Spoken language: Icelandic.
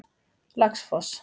Laxfoss